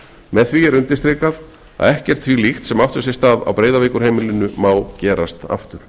með því er undirstrikað að ekkert því líkt sem átti sér stað á breiðavíkurheimilinu má gerast aftur